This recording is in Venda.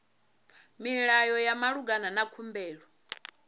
milayo ya malugana na khumbelo